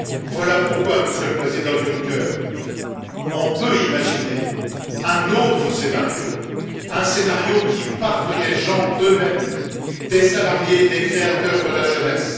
Voilà pourquoi, Monsieur le Président Juncker, on peut imaginer un autre scénario, un scénario qui parte des gens eux mêmes, des salariés, des créateurs, de la jeunesse.